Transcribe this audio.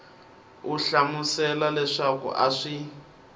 u hlamusela leswaku a swi